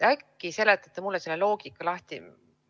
Äkki seletate mulle selle loogika lahti?